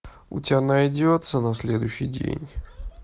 у тебя найдется на следующий день